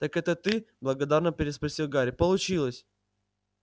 так это ты благодарно переспросил гарри получилось